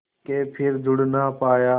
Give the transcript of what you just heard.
के फिर जुड़ ना पाया